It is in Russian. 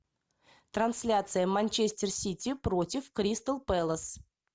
трансляция манчестер сити против кристал пэлас